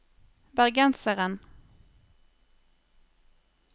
bergenseren